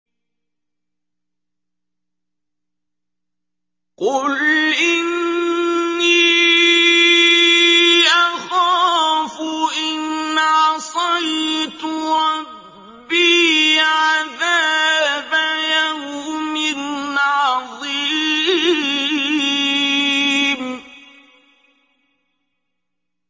قُلْ إِنِّي أَخَافُ إِنْ عَصَيْتُ رَبِّي عَذَابَ يَوْمٍ عَظِيمٍ